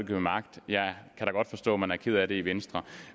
ved magt jeg kan da godt forstå at man er ked af det i venstre